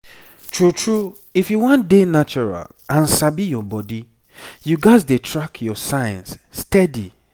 true true if you wan dey natural and sabi your body you gats dey track your signs steady